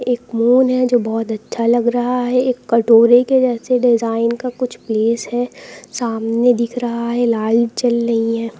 एक मून है जो बहुत अच्छा लग रहा है एक कटोरे के जैसे डिजाइन का कुछ प्लेस है सामने दिख रहा है लाल जल रही हैं।